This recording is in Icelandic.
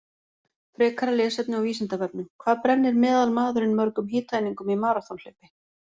Frekara lesefni á Vísindavefnum: Hvað brennir meðalmaðurinn mörgum hitaeiningum í maraþonhlaupi?